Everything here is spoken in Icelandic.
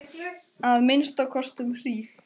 Að minnsta kosti um hríð.